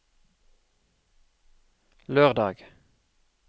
lørdag